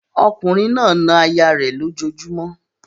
Ọkùnrin náà na aya rẹ̀ lójojúmọ́